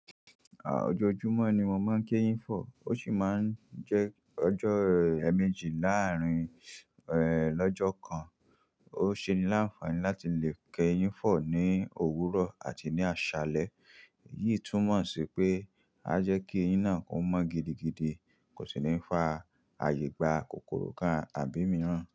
Ọjọ́jùmọ̀ ni mo máa ń kéyín fọ, ó sì máa ń jẹ́ ọjọ́ ẹ̀ẹ̀méjì láàrín lọ́jọ́ kan. Ó ń ṣeni ní àǹfààní láti lè kéyín fọ ní òwúrọ̀ àti ní àṣálẹ́. Èyí túmọ̀ sí pé a jẹ́ kí eyín náà kó mọ́ gidigidi, kò sì ní fa àyegbà kòkòrò kan àbí mìràn.